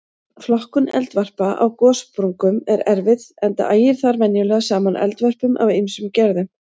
Flokkun eldvarpa á gossprungum er erfið enda ægir þar venjulega saman eldvörpum af ýmsum gerðum.